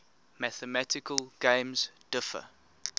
mathematical games differ